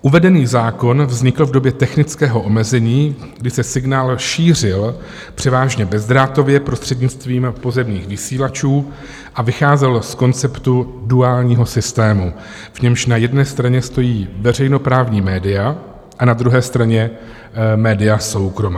Uvedený zákon vznikl v době technického omezení, kdy se signál šířil převážně bezdrátově prostřednictvím pozemních vysílačů a vycházel z konceptu duálního systému, v němž na jedné straně stojí veřejnoprávní média a na druhé straně média soukromá.